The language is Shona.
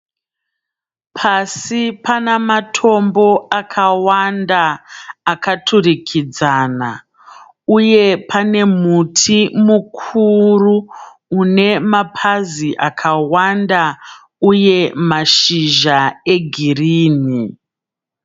Pasi pana matombo akawanda akaturikidzana uye pane muti mukuru une mapazi akawanda uye mashizha egirini.